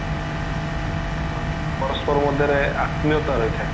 ହଁ ପରସ୍ପର ମଧ୍ୟରେ ଆତ୍ମୀୟତା ରହିଥାଏ